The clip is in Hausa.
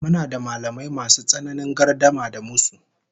Muna da mallamai masu tsananin gardama da musu